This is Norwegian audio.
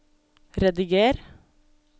rediger